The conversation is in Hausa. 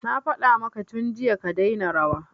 Na faɗa maka tun jiya ka daina rawa